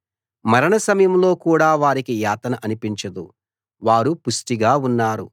మరణ సమయంలో కూడా వారికి యాతన అనిపించదు వారు పుష్టిగా ఉన్నారు